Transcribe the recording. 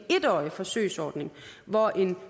årig forsøgsordning hvor en